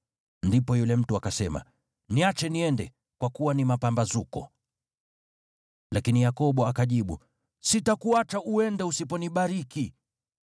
Ndipo yule mtu akasema, “Niache niende, kwa kuwa ni mapambazuko.” Lakini Yakobo akajibu, “Sitakuacha uende usiponibariki.”